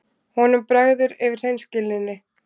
Honum bregður yfir hreinskilninni.